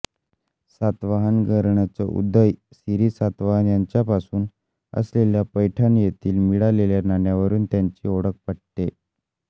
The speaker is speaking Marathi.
सातवाहन घराण्याचा उदय सिरी सातवाहन यांच्यापासून असल्याचे पैठण येथील मिळालेल्या नाण्यावरून त्याची ओळख पटते